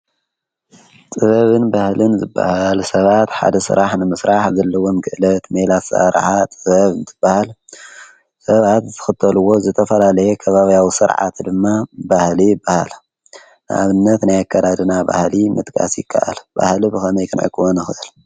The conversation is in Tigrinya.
ጥበብን በህልን ዝበሃል ሰባት ሓደ ስራሕ ንምስራሕ ዘለዎም ክእለት ሜላ ኣሰራርሓ ጥበብ አንበሃል ሰባት ዝኽተልዎ ዝተፈላለየ ኽባብያዊ ሥርዓት ድማ ባህሊ የባሃል፡፡ ንኣብነት ናይ ኣከዳድና ባህሊ ምጥቃስ ይከኣል፡፡ ባህሊ ብኸመይ ክንዕቅቦ ንኽእል?